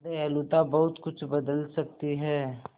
दयालुता बहुत कुछ बदल सकती है